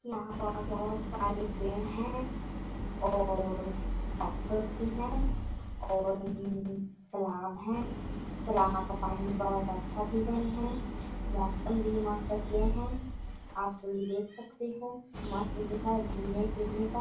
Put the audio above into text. यहाँ पास बहोत सारे पेड़ है और भी है और तलाब है तालाब का पानी बहोत अच्छा दिख रहें है मौसम भी मस्त है आप सभी देख सकते हो मस्त जगह है घुमने फिरने का--